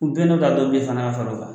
U ka fara o kan